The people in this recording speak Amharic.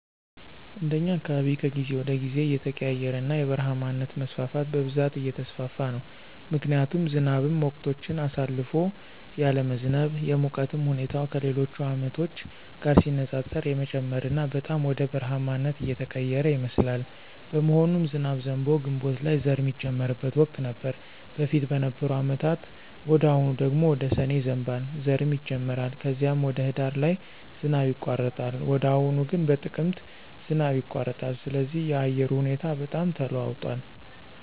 እንደኛ አካባቢ ከጊዜ ወደ ጊዜ እየተቀያየረና የበረሃማነት መስፋፋት በብዛት እየተስፋፋ ነው ምክንያቱም ዝናብም ወቅቶችን አሳልፎ ያለመዝነብ፣ የሙቀቱም ሁኔታ ከሌሎች አመቶች ጋር ሲነፃፀር የመጨመርና በጣም ወደ በረሐማነት እየተቀየረ ይመስላል። በመሆኑም ዝናብ ዘንቦ ግንቦት ላይ ዘር ሚጀመርበት ወቅት ነበር በፊት በነበሩ አመታት ወደ አሁኑ ደግሞ ወደ ሰኔ ይዘንባል ዘርም ይጀመራል ከዚም ወደ ሂዳር ላይ ዝናብ ይቋረጣል ወደ አሁኑ ግን በጥቅምት ዝናብ ይቋረጣል ስለዚህ የአየሩ ሁኔታ በጣም ተለዋውጧል